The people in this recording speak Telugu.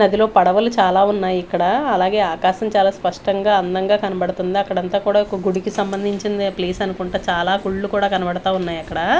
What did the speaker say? నదిలో పడవలు చాలా ఉన్నాయి ఇక్కడా అలాగే ఆకాశం చాలా స్పష్టంగా అందంగా కనపడుతుంది అక్కడ అంతా కూడ ఒక గుడికి సంబంధించింది ప్లేస్ అనుకుంటా చాలా గుళ్ళు కూడా కనబడతా ఉన్నాయి అక్కడా--